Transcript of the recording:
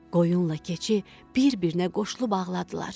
Qoyunla keçi bir-birinə qoşulub ağladılar.